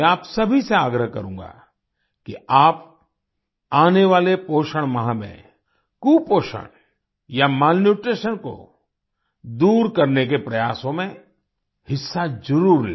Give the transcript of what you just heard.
मैं आप सभी से आग्रह करूँगा कि आप आने वाले पोषण माह में कुपोषण या मैलन्यूट्रीशन को दूर करने के प्रयासों में हिस्सा जरुर लें